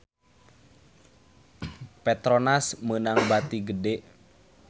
Petronas meunang bati gede